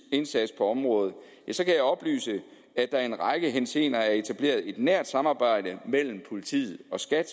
indsats på området kan jeg oplyse at der i en række henseender er etableret et nært samarbejde mellem politiet og skat